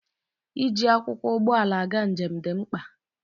Iji akwụkwọ ụgbọala aga njem dị mkpa